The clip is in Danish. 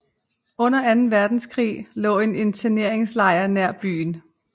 Under anden verdenskrig lå en interneringslejr nær byen